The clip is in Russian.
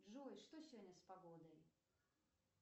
джой что сегодня с погодой